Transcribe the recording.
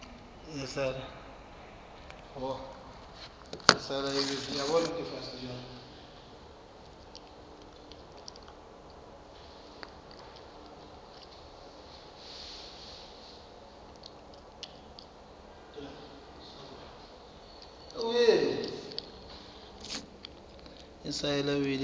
a sa siya wili e